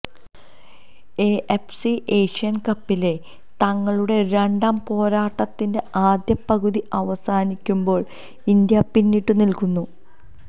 AFC Asian കപ്പിലെ തങ്ങളുടെ രണ്ടാം പോരാട്ടത്തിന്റെ ആദ്യ പകുതി അവസാനിക്കുമ്പോൾ ഇന്ത്യ പിന്നിട്ടു നിൽക്കുന്നു